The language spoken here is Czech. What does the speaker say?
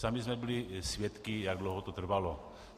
Sami jsme byli svědky, jak dlouho to trvalo.